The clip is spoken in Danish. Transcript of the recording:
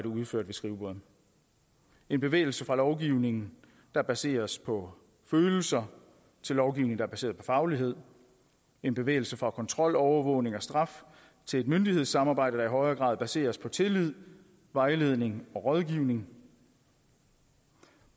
udført ved skrivebordet en bevægelse fra lovgivning der baseres på følelser til lovgivning der er baseret på faglighed en bevægelse fra kontrol overvågning og straf til et myndighedssamarbejde der i højere grad baseres på tillid vejledning og rådgivning